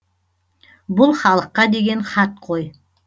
бұл халыққа деген хат қой